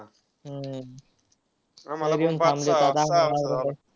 हम्म येऊन थांबले